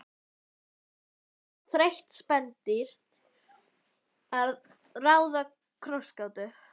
Að öðru leyti var hún þreytt spendýr að ráða krossgátu.